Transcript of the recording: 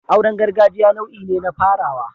Auren gargajiya nau'i ne na farawa